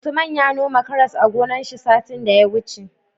Usman ya noma karas a gonar shi satin da ya wuce